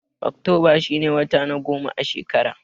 Oktoba shi ne wata na goma a shekara.